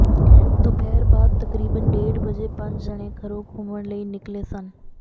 ਦੁਪਹਿਰ ਬਾਅਦ ਤਕਰੀਬਨ ਡੇਢ ਵਜੇ ਪੰਜ ਜਣੇ ਘਰੋਂ ਘੁੰਮਣ ਲਈ ਨਿੱਕਲੇ ਸਨ